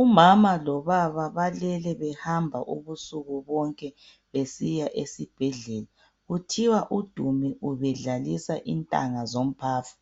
Umama lobaba balele behamba ubusuku bonke besiya esibhedlela kuthiwa uDumi ubedlalisa intanga zomphafa.